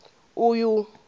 uyu